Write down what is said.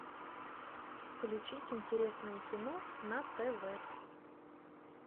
включить интересное кино на тв